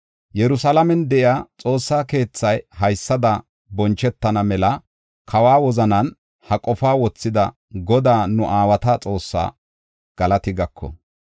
Yerusalaamen de7iya Xoossa keethaa haysada bonchetana mela kawa wozanan ha qofaa wothida Godaa, nu aawata Xoossaa galati gako!